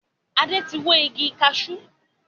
Adé tí wó igi kaṣú